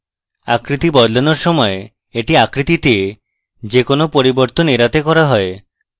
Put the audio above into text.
আকৃতি বদলানোর সময় এটি আকৃতিতে যে কোনো পরিবর্তন এড়াতে করা হয়